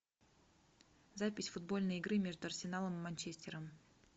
запись футбольной игры между арсеналом и манчестером